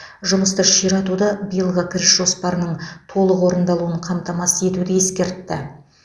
жұмысты ширатуды биылғы кіріс жоспарының толық орындалуын қамтамасыз етуді ескертті